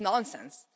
That's nonsense.